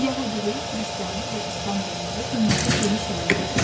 Yəhudilik, Xristianlıq və İslam dinləri dünyada geniş yayılmışdı.